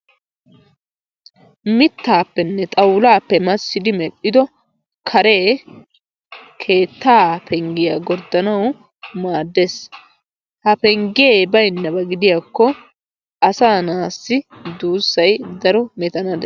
Mittaappenne xawulaappe massiddi medhdhido karee keettaa penggiya gorddanawu maaddees. Ha penggee baynnabaa gidiyakko asaa na'aassi duussay keehi daro metana dees.